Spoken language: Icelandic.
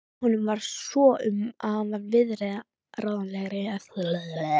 Honum varð svo um að hann varð viðráðanlegri eftir það.